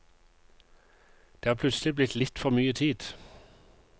Det er plutselig blitt litt for mye tid.